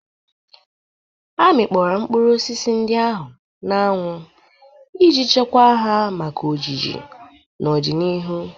Amikpọro mkpụrụ osisi ndị ahụ n'anwụ iji chekwaa ha maka ojiji n'ọdịnihu.